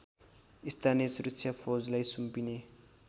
स्थानीय सुरक्षाफौजलाई सुम्पिने